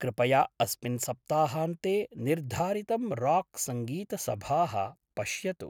कृपया अस्मिन् सप्ताहान्ते निर्धारितं राक् संगीतसभाः पश्यतु।